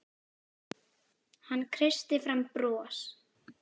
Hann kreisti fram bros.